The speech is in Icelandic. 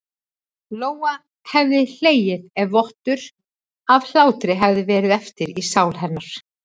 Lóa hefði hlegið ef vottur af hlátri hefði verið eftir í sál hennar.